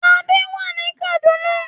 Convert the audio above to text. Adé wà ní Kaduna.